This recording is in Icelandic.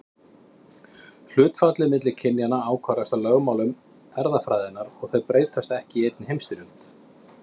Hlutfallið milli kynjanna ákvarðast af lögmálum erfðafræðinnar og þau breytast ekki í einni heimstyrjöld.